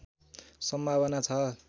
सम्भावना छ